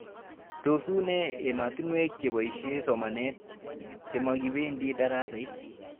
Tos unee ematinwek chepoishe somanet chemakipendi daraset